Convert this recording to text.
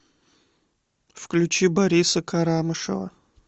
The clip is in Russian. включи бориса карамышева